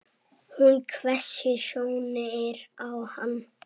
Hún hvessir sjónir á hann.